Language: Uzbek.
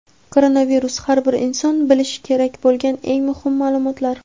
Koronavirus: Har bir inson bilishi kerak bo‘lgan eng muhim ma’lumotlar.